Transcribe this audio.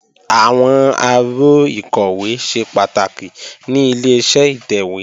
Àwọn aró ìkọ̀wé ṣe pàtàkì ní Ileṣẹ́ ìtẹ̀wé